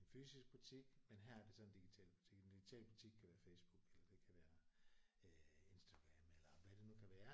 En fysisk butik men her er det så en digital butik. En digital butik kan være Facebook eller det kan være øh Instagram eller hvad det nu kan være